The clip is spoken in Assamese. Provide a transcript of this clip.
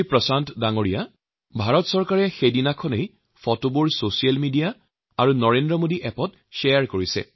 প্ৰশান্ত জী ভাৰত চৰকাৰে সেই দিনাই সকলো ফটো ছচিয়েল মিডিয়া আৰু নৰেন্দ্ৰ মোদী এপত শ্বেয়াৰ কৰিছে